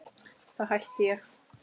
Þá hætti ég!